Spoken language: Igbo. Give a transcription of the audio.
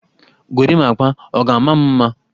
Gorimapa, ọ ga-ama m mma?